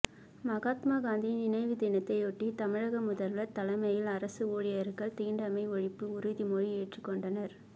மகாத்மா காந்தி நினைவு தினத்தையொட்டி தமிழக முதல்வர் தலைமையில் அரசு ஊழியர்கள் தீண்டாமை ஒழிப்பு உறுதிமொழி ஏற்றுக்கொண்டனர்